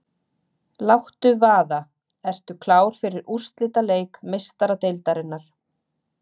Láttu vaða- Ertu klár fyrir úrslitaleik Meistaradeildarinnar?